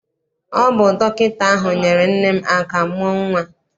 Ọ bụ dọkịta ahụ nyeere nne m aka mụọ nnwa.